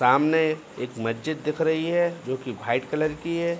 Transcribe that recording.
सामने एक मस्जिद दिख रही है जोकि वाइट कलर की है।